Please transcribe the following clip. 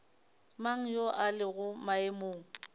mang yo a lego maemong